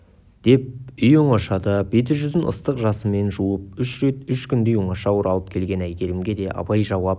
деп үй оңашада беті-жүзін ыстық жасымен жуып үш рет үш күндей оңаша оралып келген әйгерімге де абай жауап